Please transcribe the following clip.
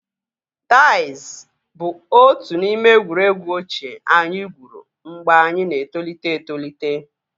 Daiz bụ otu n'ime egwuregwu ochie anyị gwuru mgbe anyị na-etolite etolite